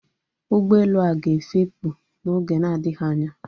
Ụgbọelu a ga-efepù n'oge na-adịghị anya